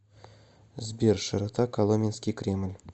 сбер широта коломенский кремль